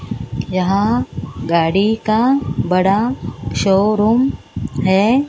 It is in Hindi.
यहां गाड़ी का बड़ा शोरूम है।